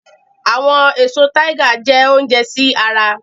Awọn eso Tiger jẹ ounjẹ si ara